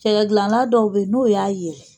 Cɛkɛ gilana dɔw bɛyi n'o y'a ye.